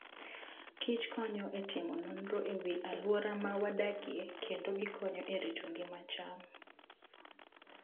kich konyo e timo nonro e wi alwora ma wadakie kendo gikonyo e rito ngima cham.